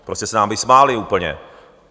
Prostě se nám vysmáli úplně!